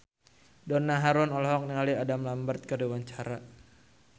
Donna Harun olohok ningali Adam Lambert keur diwawancara